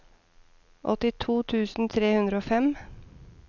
åttito tusen tre hundre og fem